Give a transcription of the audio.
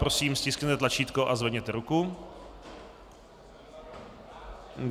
Prosím, stiskněte tlačítko a zvedněte ruku.